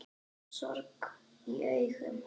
Sorg í augum.